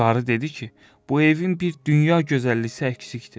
Qarı dedi ki, bu evin bir dünya gözəlliyi əksikdir.